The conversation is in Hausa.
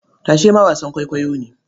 Tashe ma wasan kwaikwayo ne.